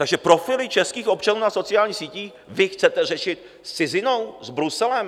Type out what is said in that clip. Takže profily českých občanů na sociálních sítích vy chcete řešit s cizinou, s Bruselem?